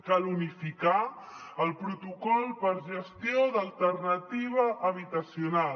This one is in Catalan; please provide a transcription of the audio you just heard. cal unificar el protocol per a gestió d’alternativa habitacional